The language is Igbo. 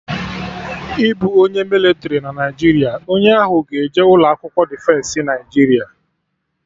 Ịbụ onye mịlịtrị na Naijiria, onye ahụ ga-eje ụlọ akwụkwọ Defensị Naijiria